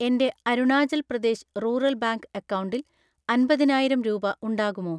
എൻ്റെ Arunachal Pradesh rural bank അക്കൗണ്ടിൽ അൻപതിനായിരം രൂപ ഉണ്ടാകുമോ?